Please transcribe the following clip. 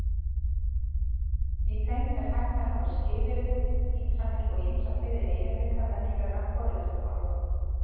Í þeim er hægt að hafa skilyrði, ítranir og ýmsa fleiri eiginleika venjulegra forritunarmála.